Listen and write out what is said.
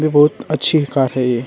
बहुत अच्छी कर है ये।